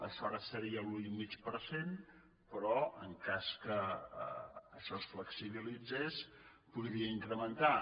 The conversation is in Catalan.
això ara seria l’un i mig per cent però en cas que això es flexibilitzés es podria incrementar